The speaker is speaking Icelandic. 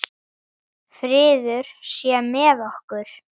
Friður sé með okkur.